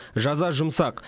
жаза жұмсақ